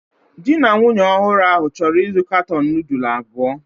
Di na nwunye ọhụrụ ahụ chọrọ ịzụ katọn nudulu abụọ